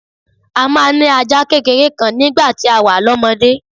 A máa ń ní ajá kékeré kan nígbà tá a wà lọ́mọdé